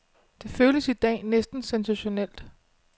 Det føles i dag næsten sensationelt.